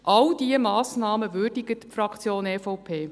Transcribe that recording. All diese Massnahmen würdigt die Fraktion EVP.